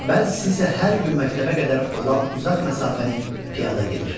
bəzisi isə hər gün məktəbə qədər olan uzaq məsafəni piyada gedir.